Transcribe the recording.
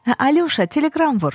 Hə, Alyoşa, teleqram vur.